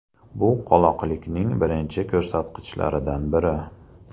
Bu – qoloqlikning birinchi ko‘rsatkichlaridan biri.